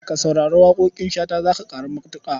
Ka saurari waƙoƙin Shata za ka ƙaru matuƙa.